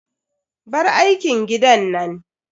Bar aikin gidan nan.